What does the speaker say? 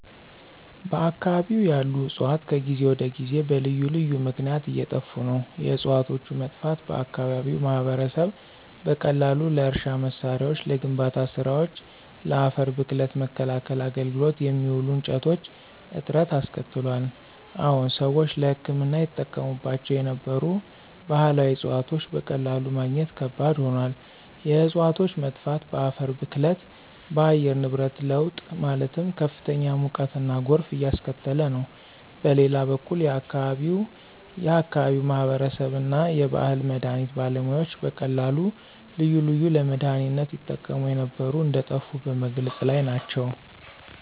በአከባቢው ያሉ ዕፅዋት ከጊዜ ወደ ጊዜ በልዩ ልዩ ምክነያት እየጠፋ ነው። የዕፅዋቶቹ መጥፋት በአከባቢው ማህበረሰብ በቀላሉ ለእርሻ መሳሪያዎች፣ ለግንባታ ስራወች፣ ለአፈር ብክለት መከላከያ አገልግሎት የሚውሉ እንጨቶች እጥረት አስከትሏል። አዎን ሰዎች ለህክምና ይጠቀሙባቸው የነበሩ ባህላዊ ዕፅዋቶች በቀላሉ ማግኘት ከባድ ሆኗል። የእፅዋቶች መጥፋት በአፈር ብክለት፣ በአየር ንብረት ለውጥ ማለትም ከፍተኛ ሙቀትና ጎርፍ እያስከተለ ነው። በሌላ በኩል የአከባቢው የአከባቢው ማህበረሰብ እና የባህል መድሀኒት ባለሙያዎች በቀላሉ ልዩ ልዩ ለመድሃኒነት ይጠቀሙ የነበሩ እንደጠፉ በመግለፅ ላይ ናቸው።